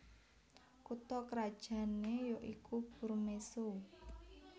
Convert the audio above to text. Kutha krajan né ya iku Burmeso